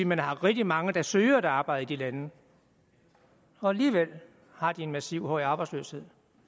man har rigtig mange der søger et arbejde i de lande og alligevel har de en massiv høj arbejdsløshed